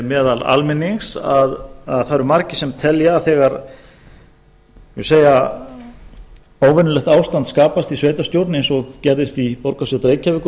meðal almennings að það eru margir sem telja að þegar óvenjulegt ástand skapast í sveitarstjórn eins og gerðist í borgarstjórn reykjavíkur